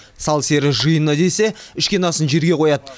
сал серілер жиыны десе ішкен асын жерге қояды